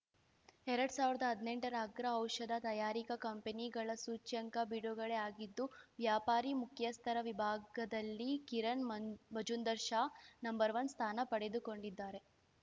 ಎರಡ್ ಸಾವಿರ್ದಾ ಹದ್ನೆಂಟರ ಅಗ್ರ ಔಷಧ ತಯಾರಿಕ ಕಂಪನಿಗಳ ಸೂಚ್ಯಂಕ ಬಿಡುಗಡೆ ಆಗಿದ್ದು ವ್ಯಾಪಾರಿ ಮುಖ್ಯಸ್ಥರ ವಿಭಾಗದಲ್ಲಿ ಕಿರಣ್‌ ಮಂಜ್ ಮಜುಂದಾರ್‌ ಶಾ ನಂವನ್ ಸ್ಥಾನ ಪಡೆದುಕೊಂಡಿದ್ದಾರೆ